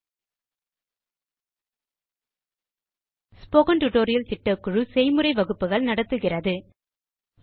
spoken tutorial களை பயன்படுத்தி நாங்கள் செய்முறை வகுப்புகள் நடத்துகிறோம்